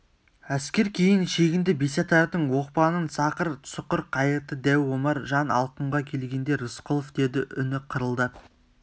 әскер кейін шегінді бесатардың оқпанын сақыр-сұқыр қайырды дәу омар жан алқымға келгенде рысқұлов деді үні қырылдап